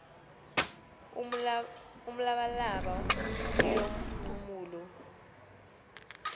umlabalaba oehm nxumalo